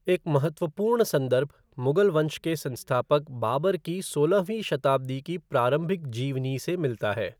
एक महत्वपूर्ण संदर्भ मुग़ल वंश के संस्थापक बाबर की सोलहवीं शताब्दी की प्रारंभिक जीवनी से मिलता है।